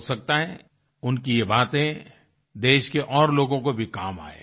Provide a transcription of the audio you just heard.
हो सकता है उनकी ये बातें देश के और लोगों को भी काम आये